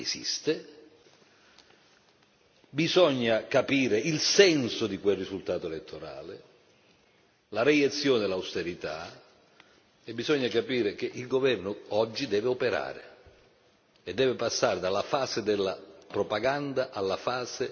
Bisogna capire il senso di quel risultato elettorale, la reiezione dell'austerità e bisogna capire che il governo, oggi, deve operare e deve passare dalla fase della propaganda alla fase della scelta sui nodi concreti.